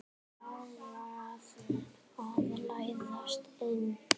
Ákvað að læðast inn.